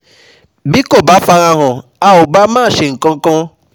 Bí kò bá farahàn a ò bá má ṣe nǹkankan